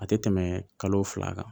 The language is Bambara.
A tɛ tɛmɛ kalo fila kan